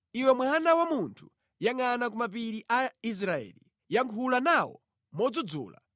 “Iwe mwana wa munthu, yangʼana ku mapiri a Israeli; yankhula nawo modzudzula